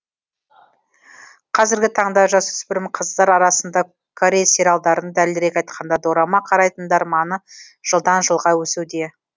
қазіргі таңда жасөспірім қыздар арасында корей сериалдарын дәлірек айтқанда дорама қарайтындар маны жылдан жылға өсуде